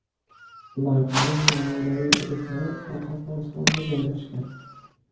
Loyihaning namunaviy hududlari Qoraqalpog‘istonda joylashgan.